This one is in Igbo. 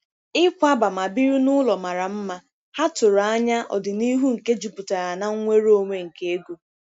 Ikwaba ma biri n'ụlọ mara mma, ha tụrụ anya ọdịnihu nke jupụtara na nnwere onwe nke ego.